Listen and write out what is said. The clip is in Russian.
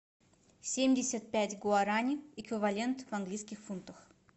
семьдесят пять гуарани эквивалент в английских фунтах